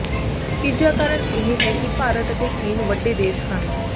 ਤੀਜਾ ਕਾਰਨ ਇਹ ਹੈ ਕਿ ਭਾਰਤ ਅਤੇ ਚੀਨ ਵੱਡੇ ਦੇਸ਼ ਹਨ